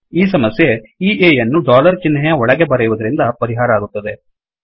ಈ ಸಮಸ್ಯೆ ಈ A ಯನ್ನೂ ಡೊಲರ್ ಚಿಹ್ನೆಯ ಒಳಗೆ ಬರೆಯುವದರಿಂದ ಪರಿಹಾರ ಆಗುತ್ತದೆ